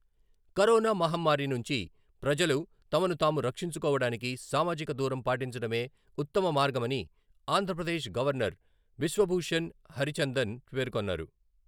Corona మహమ్మారి నుంచి ప్రజలు తమను తాము రక్షించుకోవడానికి సామాజిక దూరం పాటించడమే ఉత్తమ మార్గమని ఆంధ్రప్రదేశ్ గవర్నర్ బిశ్వభూషణ్ హరిచందన్ పేర్కొన్నారు.